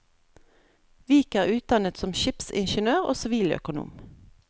Vik er utdannet som skipsingeniør og siviløkonom.